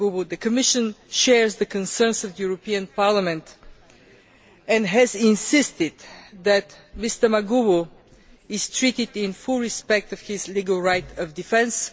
The Commission shares the concerns of the European Parliament and has insisted that Mr Maguwu is treated in full respect of his legal right of defence.